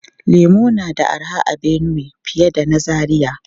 Lemu na da arha a Benue fiye da na Zaria.